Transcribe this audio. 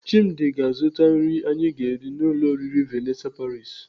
Chimdi ga-azụta nri anyi ga-eri n'ụlọ oriri Vanessa paris.